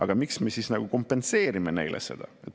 Aga miks me kompenseerime neile seda?